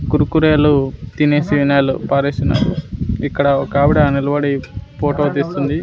కురుకురేలు తినేసినాలు పారేస్తున్నారు ఇక్కడ ఒకావిడ నిలబడి పోటో తీస్తుంది.